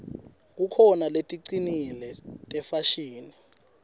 kukhona leticinile tefashini